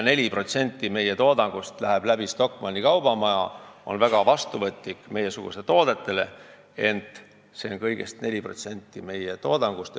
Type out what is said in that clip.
4% meie toodangust läheb Stockmanni kaubamajja, mis on meiesuguse toodetele väga vastuvõtlik, ent see teeb kõigest 4% meie toodangust.